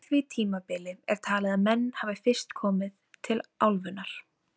Lögregla gat ekki verið með löggæslu á laugardeginum og því varð föstudagur fyrir valinu.